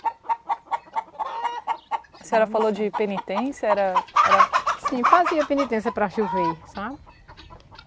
A senhora falou de penitência, era... era... Sim, fazia penitência para chover, sabe?